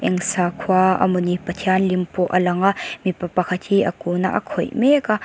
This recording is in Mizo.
eng sakhua amawni pathian lim pawh a lang a mipa pakhat hi a kun a a khawih mek a--